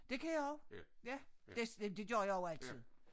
Det kan jeg også ja det det gjorde jeg også altid